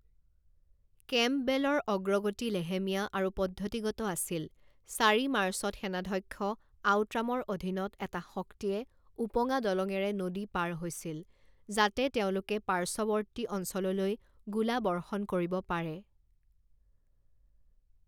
কেম্পবেলৰ অগ্ৰগতি লেহেমীয়া আৰু পদ্ধতিগত আছিল চাৰি মাৰ্চত সেনাধ্যক্ষ আউট্ৰামৰ অধীনত এটা শক্তিয়ে উপঙা দলঙেৰে নদী পাৰ হৈছিল যাতে তেওঁলোকে পাৰ্শ্চৱৰ্তী অঞ্চললৈ গোলা বৰ্ষণ কৰিব পাৰে।